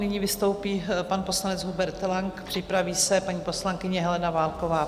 Nyní vystoupí pan poslanec Hubert Lang, připraví se paní poslankyně Helena Válková.